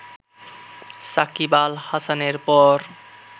সাকিব আল হাসানের পর